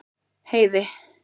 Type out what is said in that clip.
Heiði